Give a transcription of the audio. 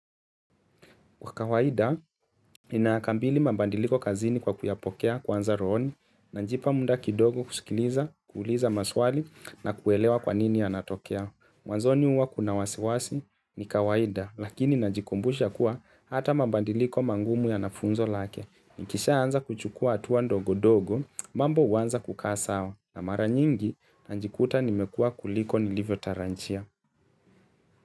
Kwa kawaida, ninakambili mabandiliko kazini kwa kuyapokea kwanza rohoni, najipa muda kidogo kusikiliza, kuuliza maswali na kuelewa kwa nini yanatokea. Mwanzoni huwa kuna wasiwasi ni kawaida, lakini najikumbusha kuwa hata mabandiliko magumu yana funzo lake. Nikishaanza kuchukua hatua ndogondogo, mambo huanza kukaa sawa na mara nyingi, najikuta nimekua kuliko nilivyotarajia.